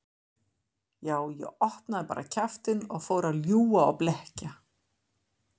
Já, ég opnaði bara kjaftinn og fór að ljúga og blekkja.